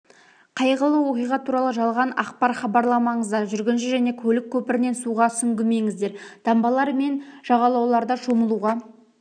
қайғылы оқиға туралы жалған ақпар хабарламаңыздар жүргінші және көлік көпірінен суға сүңгімеңіздер дамбалар мен жағалауларда шомылуға